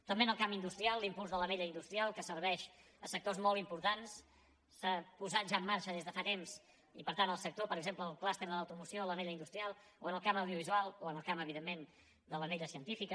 també en el camp industrial l’impuls de l’anella industrial que serveix sectors molt importants s’ha posat ja en marxa des de fa temps i per tant el sector per exemple del clúster de l’automoció l’anella industrial o en el camp audiovisual o en el camp evidentment de l’anella científica